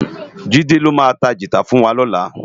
Jide ló má tá gitá fùn wá lòlá